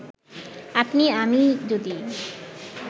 আপনি আমিই যদি